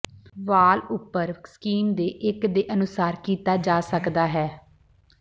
ਵਾਲ ਉਪਰ ਸਕੀਮ ਦੇ ਇੱਕ ਦੇ ਅਨੁਸਾਰ ਕੀਤਾ ਜਾ ਸਕਦਾ ਹੈ